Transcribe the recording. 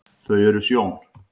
þau eru sjón